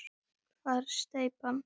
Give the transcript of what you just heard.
Hvar er steypan?